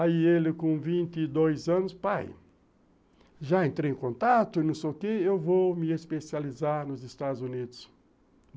Aí ele com vinte e dois anos, pai, já entrei em contato e não sei o que, eu vou me especializar nos Estados Unidos.